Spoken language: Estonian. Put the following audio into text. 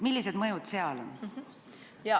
Millised mõjud seal on?